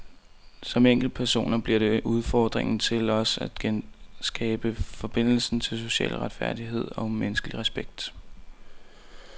Som enkeltpersoner bliver det udfordringen til os at genskabe forbindelsen til social retfærdighed og menneskelig respekt.